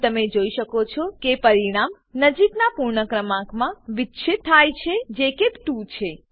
અહીં તમે જોઈ શકો છો કે પરિણામ નજીકનાં પૂર્ણ ક્રમાંકમાં વિચ્છીત થાય છે જે કે ૨ છે